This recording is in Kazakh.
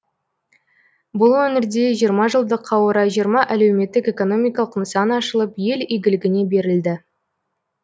бұл өңірде жиырма жылдыққа орай жиырма әлеуметтік экономикалық нысан ашылып ел игілігіне берілді